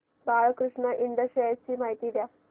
Balkrishna Ind shares ची माहिती द्या